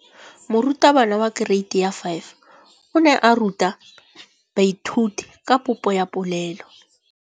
Moratabana wa kereiti ya 5 o ne a ruta baithuti ka popô ya polelô.